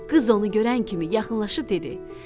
Qız onu görən kimi yaxınlaşıb dedi.